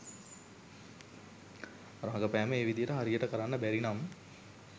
රඟපෑම ඒ විදියට හරියට කරන්න බැරි නම්